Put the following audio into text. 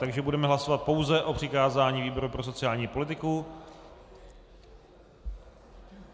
Takže budeme hlasovat pouze o přikázání výboru pro sociální politiku.